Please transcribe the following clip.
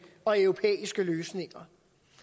og europæiske løsninger